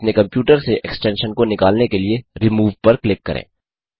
और अपने कंप्यूटर से एक्सटेंशन को निकालने के लिए रोमूव पर क्लिक करें